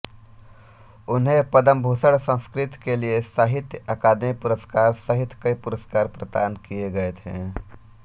उन्हें पद्मभूषण संस्कृत के लिये साहित्य अकादमी पुरस्कार सहित कई पुरस्कार प्रदान किये गये थे